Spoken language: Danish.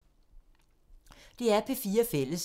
DR P4 Fælles